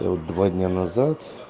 два дня назад